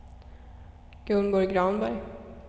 Gunborg Granberg